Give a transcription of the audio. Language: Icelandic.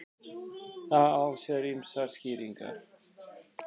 Það á sér ýmsar skýringar.